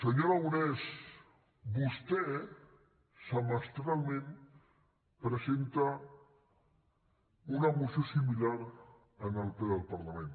senyor aragonès vostè semestralment presenta una moció similar en el ple del parlament